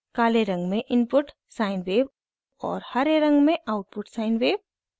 काले रंग में इनपुट sine wave और हरे रंग में आउटपुट sine wave